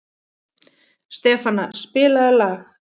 Stefana, spilaðu lag.